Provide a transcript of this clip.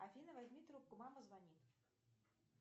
афина возьми трубку мама звонит